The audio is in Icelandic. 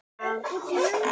Já, þetta er allt rétt.